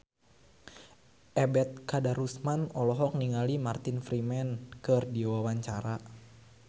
Ebet Kadarusman olohok ningali Martin Freeman keur diwawancara